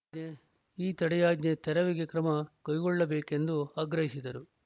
ಈ ತಡೆಯಾಜ್ಞೆ ತೆರವಿಗೆ ಕ್ರಮ ಕೈಗೊಳ್ಳಬೇಕೆಂದು ಆಗ್ರಹಿಸಿದರು